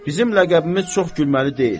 Bizim ləqəbimiz çox gülməli deyil.